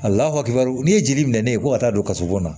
A lafakil n'i ye jeli minɛ ne ye ko ka taa don kaso bon na